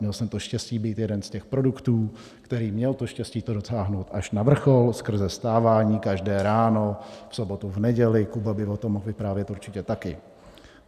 Měl jsem to štěstí být jeden z těch produktů, který měl to štěstí to dotáhnout až na vrchol skrze vstávání každé ráno, v sobotu, v neděli, Kuba by o tom mohl vyprávět určitě taky.